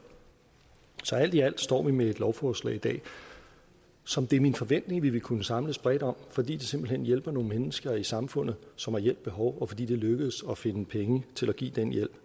alt i alt står vi med et lovforslag som det er min forventning vi vil kunne samles bredt om fordi det simpelt hen vil hjælpe nogle mennesker i samfundet som har hjælp behov og fordi det er lykkedes at finde penge til at give den hjælp